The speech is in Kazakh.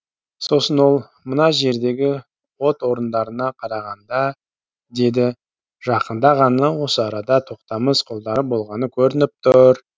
сосын ол мына жердегі от орындарына қарағанда деді жақында ғана осы арада тоқтамыс қолдары болғаны көрініп тұр